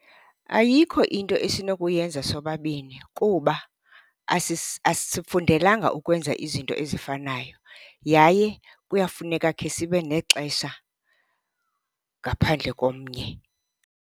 Ayikho into esinokuyenza sobabini kuba asifundelanga ukwenza izinto ezifanayo yaye kuyafuneka khe sibe nexesha ngaphandle komnye.